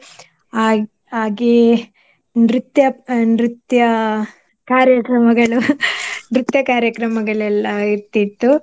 ಹಾಗ್~ ಹಾಗೆ ನೃತ್ಯ ಅಹ್ ನೃತ್ಯ ಕಾರ್ಯಕ್ರಮಗಳು ನೃತ್ಯ ಕಾರ್ಯಕ್ರಮಗಳೆಲ್ಲಾ ಇರ್ತಿತ್ತು.